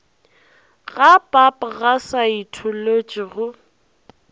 ga pap ga saetholotši go